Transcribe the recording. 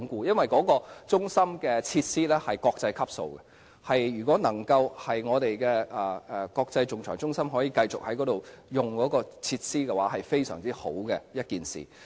因為那個中心的設施屬國際級，如果國際仲裁中心可以繼續使用該處的設施，是一件非常好的事。